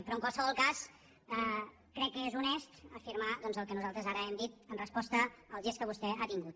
però en qualsevol cas crec que és honest afirmar doncs el que nosaltres ara hem dit en resposta al gest que vostè ha tingut